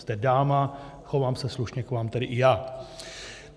Jste dáma, chovám se slušně k vám tedy i já.